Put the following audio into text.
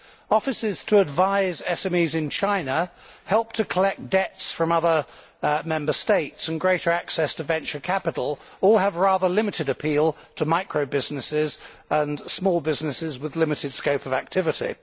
Offices to advise SMEs in China, help with collecting debts from other Member States, and greater access to venture capital all have rather limited appeal to micro businesses and small businesses with a limited scope of activity.